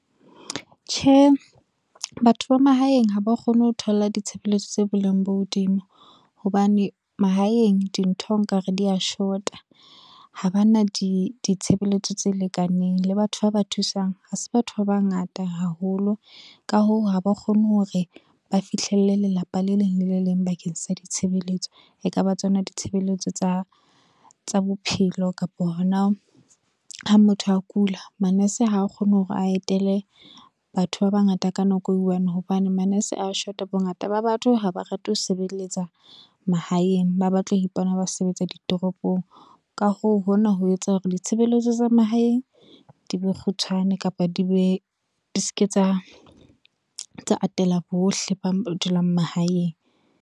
Tjhe, batho ba mahaeng ha ba kgone ho thola ditshebeletso tsa boleng bo hodimo, hobane mahaeng dintho nka re di ya short-a. Ha ba na ditshebeletso tse lekaneng le batho ba ba thusang, ha se batho ba bangata haholo ka hoo, ha ba kgone hore ba fihlelle lelapa le leng lele leng bakeng sa ditshebeletso. E ka ba tsona ditshebelletso tsa bophelo kapa hona ha motho a kula manese ha kgone hore a etele batho ba bangata ka nako e one, hobane manese a short-a bongata ba batho ha ba rate ho sebeletsa mahaeng, ba batla ho ipona ba sebetsa ditoropong ka hoo, hona ho etsa hore ditshebeletso tsa mahaeng di be kgutshwane kapa di ske tsa atela bohle ba dulang mahaeng.